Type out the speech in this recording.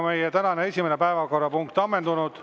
Meie tänane esimene päevakorrapunkt on ammendunud.